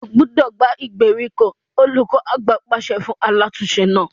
O gbúdọ̀ gbá ìgbèríko! olùkọ àgbà náà pàṣẹ fún alátùn-ún-se náà.